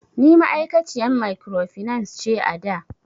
Ni ma'aikaciyan mikrofinance ce ada